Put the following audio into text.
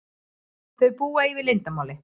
Þau búa yfir leyndarmáli.